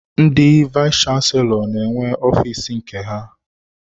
Ndị vayis chansilọ n'enwe ọfiisi nke ha.